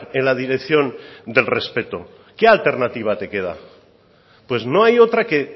en la dirección del respeto qué alternativa te queda pues no hay otra que